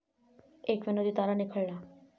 एक 'विनोदी' तारा निखळला